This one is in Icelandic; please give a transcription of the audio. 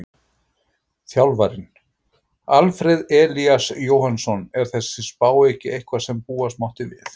Þjálfarinn: Alfreð Elías Jóhannsson Er þessi spá ekki eitthvað sem búast mátti við?